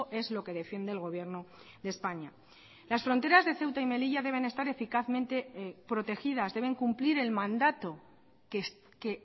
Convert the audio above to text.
es lo que defiende el gobierno de españa las fronteras de ceuta y melilla deben estar eficazmente protegidas deben cumplir el mandato que